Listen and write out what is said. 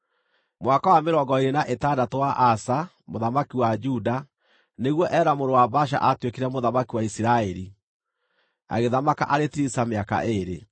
Mwaka wa mĩrongo ĩĩrĩ na ĩtandatũ wa Asa, mũthamaki wa Juda, nĩguo Ela mũrũ wa Baasha aatuĩkire mũthamaki wa Isiraeli, agĩthamaka arĩ Tiriza mĩaka ĩĩrĩ.